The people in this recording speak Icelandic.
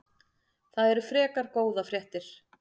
Það eru frekar góðar fréttir.